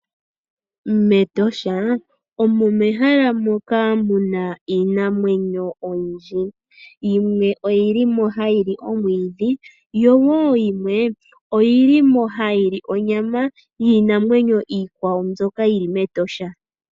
MEtosha omo mehala moka muna iinamwenyo oyindji, yimwe oyi li mo hayi li omwiidhi, yo wo yimwe oyi li mo hayi li onyama yiinamwenyo iikwawo, mbyoka yi li mEtosha.